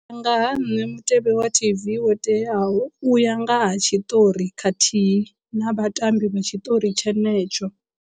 U ya nga ha nṋe mutevhe wa T_V wo teaho u ya nga ha tshiṱori khathihi na vhatambi vha tshiṱori tshenetsho.